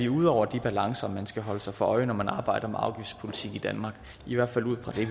ude over de balancer man skal holde sig for øje når man arbejder med afgiftspolitik i danmark i hvert fald ud fra det